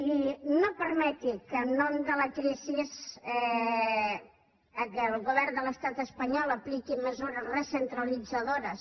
i no permeti que en nom de la crisi el govern de l’estat espanyol apliqui mesures recentralitzadores